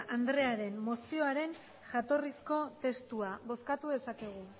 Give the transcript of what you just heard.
andrearen mozioaren jatorrizko testua bozkatu dezakegu